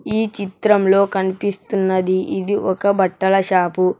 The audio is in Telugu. ఈ చిత్రంలో కనిపిస్తున్నది ఇది ఒక బట్టల షాపు .